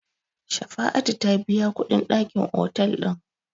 Shafa'atu ta biya kuɗin dakin otel ɗin.